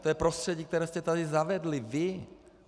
To je prostředí, které jste tady zavedli vy.